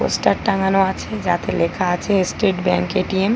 Poster টাঙানো আছে যাতে লেখা আছে স্টেট ব্যাঙ্ক এ.টি.এম ।